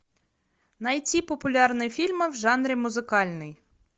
найти популярные фильмы в жанре музыкальный